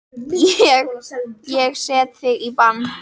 Ég. ég set þig í bann!